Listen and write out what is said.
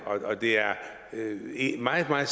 og at det er meget meget